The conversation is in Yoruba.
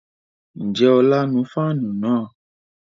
Ǹjẹ́ ọlá nu fáànù náà?